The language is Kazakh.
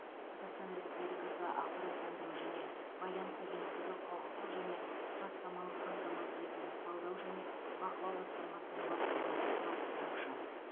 қазақстан республикасы ақпараттандыру және байланыс агенттігі құқықтық және құжаттамалық қамтамасыз ету талдау және бақылау басқармасының бастығы бас сарапшы